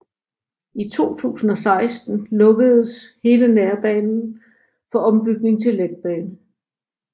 I 2016 lukkedes hele nærbane for ombygning til letbane